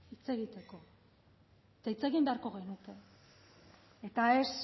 hitz egiteko eta hitz egin beharko genuke eta ez